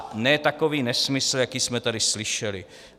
A ne takový nesmysl, jaký jsme tady slyšeli.